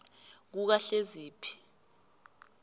kukahleziphi